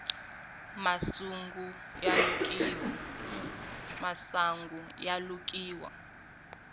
masungu ya lukiwa